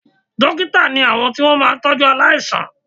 Dókítà ni àwọn tí wọ́n máa ń tọ́jú aláìsàn